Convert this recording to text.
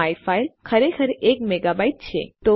my file ખરેખર એક megabyte છે